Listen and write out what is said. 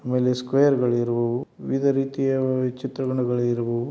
ಅಮೇಲೆ ಸ್ಕ್ವೇರ್ ಗಳು ಇರುವವು. ವಿವಿಧ ರೀತಿಯ ವಿ ಚಿತ್ರರಣ ಇರುವವು.